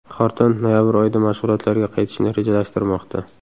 Xorton noyabr oyida mashg‘ulotlarga qaytishni rejalashtirmoqda.